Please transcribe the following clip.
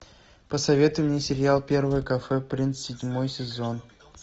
посоветуй мне сериал первое кафе принц седьмой сезон